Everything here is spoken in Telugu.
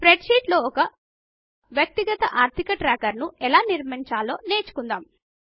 స్ప్రెడ్ షీట్ లో ఒక వ్యక్తిగత ఆర్ధిక ట్రాకర్ ను ఎలా నిర్మించాలో నేర్చుకుందాము